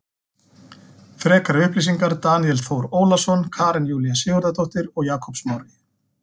Frekari upplýsingar Daníel Þór Ólason Karen Júlía Sigurðardóttir og Jakob Smári.